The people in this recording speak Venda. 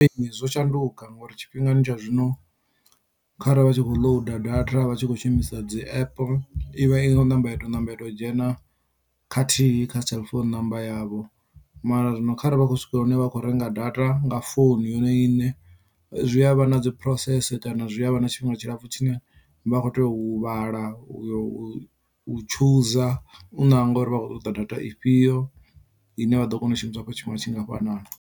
Zwo shanduka ngori tshifhingani tsha zwino kharali vha tshi kho loader data vhatshi kho shumisa dzi app ivha i khou ṋamba ya to dzhena khathihi kha cell phone number yavho mara zwino kharali vha khou swika hune vha kho renga data nga founu yone iṋe zwi a vha na dzi process kana zwi a vha na tshifhinga tshilapfhu tshine vha kho tea u huvhala u yo u u chooser u nanga uri vha khou ṱoḓa data ifhio ine vha ḓo kona u shumisa afho tshifhinga tshingafhanani.